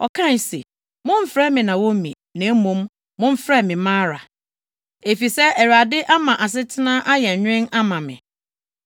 Ɔkae se, “Mommfrɛ me Naomi, na mmom, momfrɛ me Mara, efisɛ Awurade ama asetena ayɛ nwen ama me.